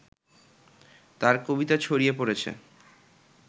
তাঁর কবিতা ছড়িয়ে পড়েছে